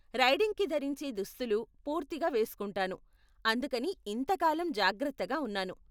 రైడింగ్కి ధరించే దుస్తులు పూర్తిగా వేస్కుంటాను, అందుకని ఇంతకాలం జాగ్రత్తగా ఉన్నాను.